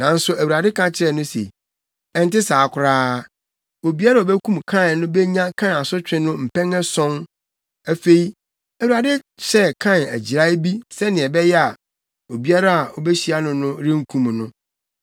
Nanso Awurade ka kyerɛɛ no se, “Ɛnte saa koraa! Obiara a obekum Kain no benya Kain asotwe no mpɛn ason.” Afei, Awurade hyɛɛ Kain agyirae bi sɛnea ɛbɛyɛ a, obiara a obehyia no no renkum no.